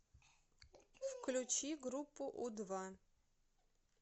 включи группу у два